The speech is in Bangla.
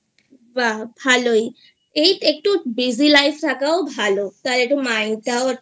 বাহ্ ভালোই এই একটু Busy Life থাকায় ভালো তাহলে একটু mind টাও একটু